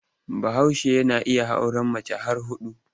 Bahaushe yana iya auren mace har huɗu.